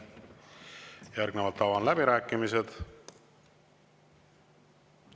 Järgnevalt avan läbirääkimised.